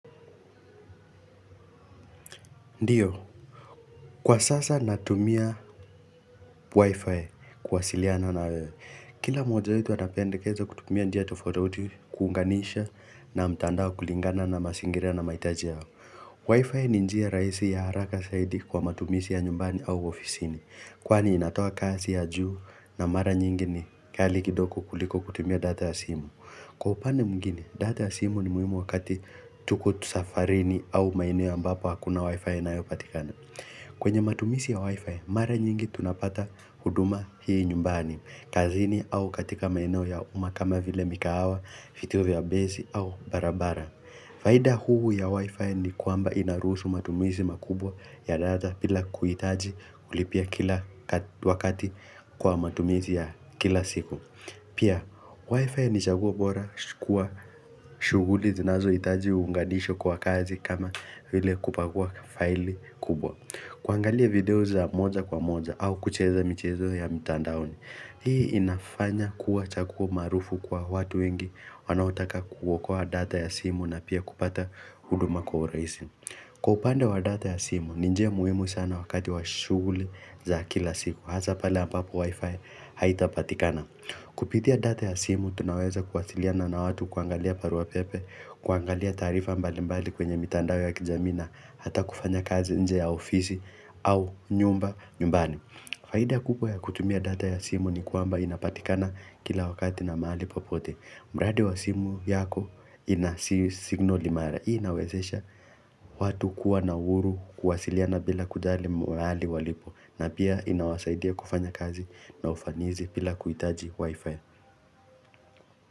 Ndiyo, kwa sasa natumia wifi kuwasiliana na wewe. Kila moja wetu atapendekeza kutumia njia tofauti tofauti kuunganisha na mtandao kulingana na mazingira na mahitaji yao. Wifi ni njia raisi ya haraka zaidi kwa matumizi ya nyumbani au ofisini. Kwani inatoa kasi ya juu na mara nyingi ni kali kidogo kuliko kutumia data ya simu. Kwa upande mwengine, data ya simu ni muhimu wakati tuko safarini au maeneo ambapo hakuna wifi inayopatikana. Kwenye matumizi ya wifi, mara nyingi tunapata huduma hii nyumbani, kazini au katika maeneo ya umma kama vile migahawa, vituo vya bezi au barabara. Faida kuu ya wifi ni kwamba inaruhusu matumizi makubwa ya data bila kuhitaji kulipia kila wakati kwa matumizi ya kila siku. Pia, wifi ni chaguo bora kwa shughuli zinazohitaji uunganishwe kwa kazi kama vile kupakua faili kubwa. Kuangalia video za moja kwa moja au kucheza michezo ya mitandaoni. Hii inafanya kuwa chaguo maarufu kwa watu wengi wanaotaka kuokoa data ya simu na pia kupata huduma kwa urahisi. Kwa upande wa data ya simu, ni njia muhimu sana wakati wa shughuli za kila siku. Hasa pale ambapo wifi haitapatikana. Kupitia data ya simu, tunaweza kuwasiliana na watu, kuangalia barua pepe, kuangalia taarifa mbalimbali kwenye mitandao ya kijamii na hata kufanya kazi nje ya ofisi au nyumbani Faida kubwa ya kutumia data ya simu ni kwamba inapatikana kila wakati na mahali popote ilmradi simu yako inasignal imara. Hii inawezesha watu kuwa na uhuru kuwasiliana bila kujali mahali walipo. Na pia inawasaidia kufanya kazi na ufanisi bila kuhitaji wifi.